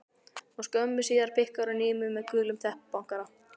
Og skömmu síðar pikkar hún í mig með gulum teppabankara.